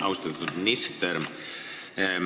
Austatud minister!